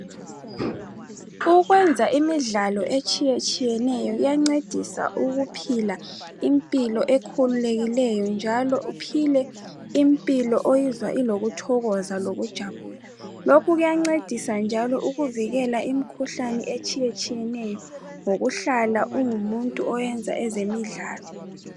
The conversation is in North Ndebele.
Ukwenza imidlalo etsiyetshiyeneyo kuyancedisa ukuphila impilo ekhululekileyo, njalo uphile impilo oyizwa ilokuthokoza lokujabula. Lokhu kuyancedisa njalo ukuvikela imikhuhlane etshiyetshiyeneyo ngokuhlala ungumuntu oyenza ezemidlalo.